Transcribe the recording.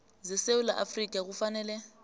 zesewula afrika kufanele